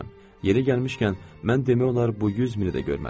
Yeri gəlmişkən, mən demək olar bu 100 mini də görmədim.